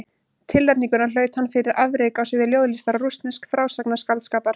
Tilnefninguna hlaut hann fyrir afrek á sviði ljóðlistar og rússnesks frásagnarskáldskapar.